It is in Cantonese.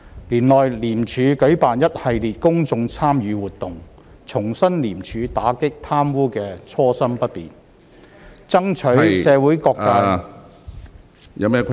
年內，廉署舉辦一系列公眾參與活動，重申廉署打擊貪污的初心不變，爭取社會各界......